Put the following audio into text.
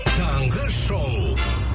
таңғы шоу